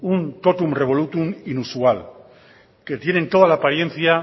un tótum revolútum inusual que tienen toda la apariencia